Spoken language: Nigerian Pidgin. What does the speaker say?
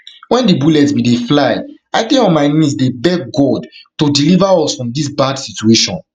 wen di bullets bin dey fly i dey on my knees dey beg god to deliver us from dis bad situation